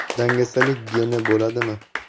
Dangasalik geni bo‘ladimi?.